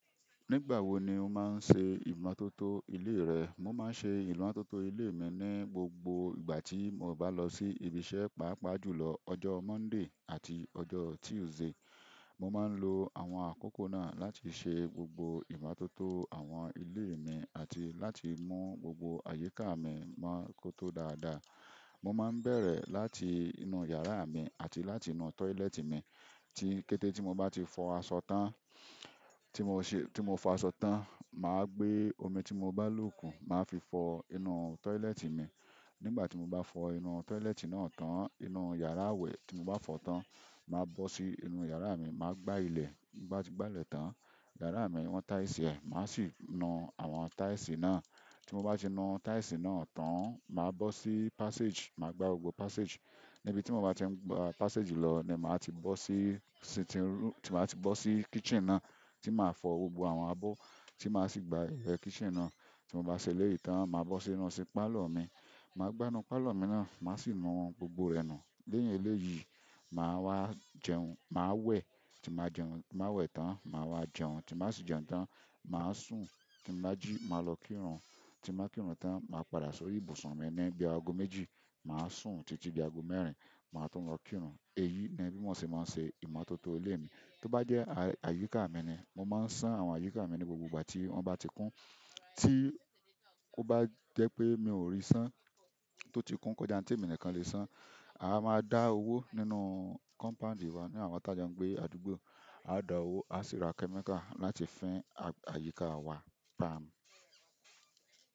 Nígbà wo ni o máa ń ṣe ìmọ́tótó ilé rẹ? Mo máa ń ṣe ìmọ́tótó ilé mi ní gbogbo ìgbà tí mo bá lọ sí ibi iṣẹ́, pàápàá jùlọ ọjọ́ Monday àti ọjọ́ Tuesday. Mo máa ń lo àwọn àkókò náà láti ṣe gbogbo ìmọ́tótó àwọn ilé mi àti láti mú gbogbo àyíká mi mọ kó tó dáadáa. Mo máa ń bẹ̀rẹ̀ láti inú yàrá mi àti láti inú toilet mi. Tí kété tí mo bá ti fọ aṣọ tán, tí mo ṣẹ-- tí mo fọ aṣọ tán, màá gbé omi tí mo bá lò kù máa fi fọ inú toilet mi. Nígbà tí mo bá fọ inú toilet náà tán, inú yàrá wẹ̀ tí mo bá fọ tán, màá bọ́ sí inú yàrá mi, màá gbá ilẹ̀. Bí mo bá ti gbá ilẹ̀ tán, yàrá mi wọn tiles ẹ, màá sì nu àwọn tiles náà. Tí mo bá ti nu tiles náà tán, màá bọ́ sí passage, màá gbá gbogbo passage. Níbi tí mo bá ti ń gbá passage lọ ni màá ti bọ́ sí-sitting room-- tí màá ti bọ́ sí kitchen náà tí màá fọ gbogbo àwọn abọ́, tí màá sì gbá ilẹ̀ kitchen náà. Tí mo bá ṣele yìí tán, màá bọ́ sínú pálọ̀ mi. Màá gbá inú pálọ̀ mi náà, màá sì nu gbogbo ẹ̀ nu. Lẹ́yìn eléyìí, màá wá jẹun. Màá wẹ̀ tí màá jẹun. Má wẹ̀ tán, màá wá jẹun. Tí màá sì jẹun tán, màá sùn. Tí mo bá jí, màá lọ kírun. Tí màá kírun tán, màá padà sórí ibùsùn mi ní bí i ago méjì. Màá sùn títí bí i ago mẹ́rin, màá tún lọ kírun. Èyí ni bí mo ṣe máa ń ṣe ìmọ́tótó ilé mi. Tó bá jẹ́ àyíká mi ni, mo máa ń ṣán àwọn àyíká mi ní gbogbo ìgbà tí wọ́n bá ti kún. Tí ó bá jẹ́ pé mi ò rí ṣán tó ti kún kó já ntemi nìkan le ṣán, a máa dá owó nínú compound wa ní àwa t'ajọ ń gbé, àdúgbò. A dá owó, a sì ra chemical láti fín àyíká wa palm.